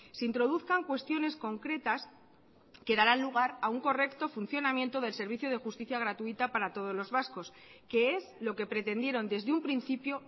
se introduzcan cuestiones concretas que darán lugar a un correcto funcionamiento del servicio de justicia gratuita para todos los vascos que es lo que pretendieron desde un principio